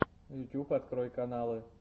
ютуб открой каналы